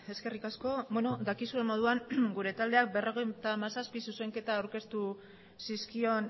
eskerrik asko dakizuen moduan gure taldeak berrogeita hamazazpi zuzenketa aurkeztu zizkion